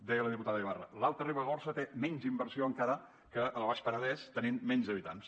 deia la diputada ibarra l’alta ribagorça té menys inversió encara que el baix penedès tenint menys habitants